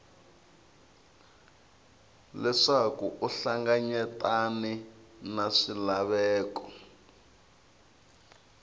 leswaku u hlanganyetane na swilaveko